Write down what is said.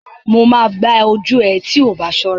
Mo máa gbá ojú ẹ tí oọbá ṣọ́ra.